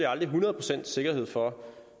aldrig hundrede procents sikkerhed for